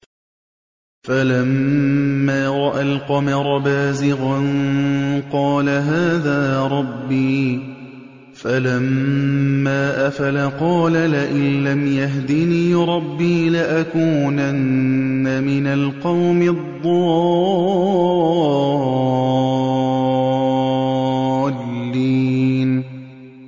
فَلَمَّا رَأَى الْقَمَرَ بَازِغًا قَالَ هَٰذَا رَبِّي ۖ فَلَمَّا أَفَلَ قَالَ لَئِن لَّمْ يَهْدِنِي رَبِّي لَأَكُونَنَّ مِنَ الْقَوْمِ الضَّالِّينَ